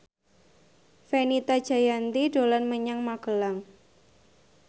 Fenita Jayanti dolan menyang Magelang